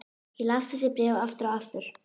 Ég las þessi bréf aftur og aftur.